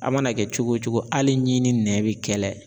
A mana kɛ cogo o cogo hali ɲi ni nɛ be kɛlɛ.